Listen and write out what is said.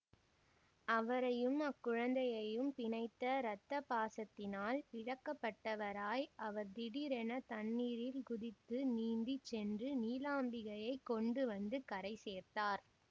அவரையும் அக்குழந்தையையும் பிணைத்த இரத்த பாசத்தினால் இழுக்கப்பட்டவராய் அவர் திடீரென தண்ணீரில் குதித்து நீந்தி சென்று நீலாம்பிகையைக் கொண்டு வந்து கரை சேர்த்தார்